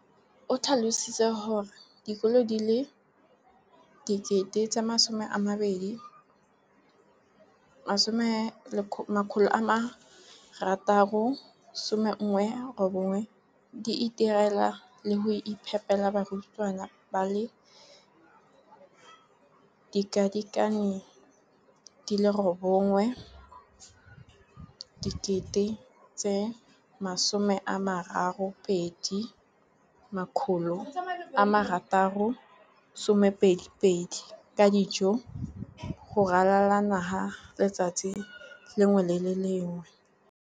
o tlhalositse gore dikolo di le 20 619 di itirela le go iphepela barutwana ba le 9 032 622 ka dijo go ralala naga letsatsi le lengwe le le lengwe.